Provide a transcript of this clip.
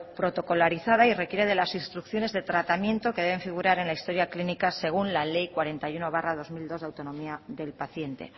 protocolarizada y requiere de las instrucciones de tratamiento que deben figurar en la historia clínica según la ley cuarenta y uno barra dos mil dos de autonomía del paciente